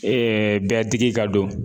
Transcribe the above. bɛɛ digi ka don